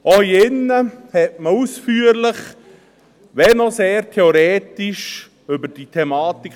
Auch hier in diesem Saal diskutierte man ausführlich – wenn auch sehr theoretisch – über diese Thematik.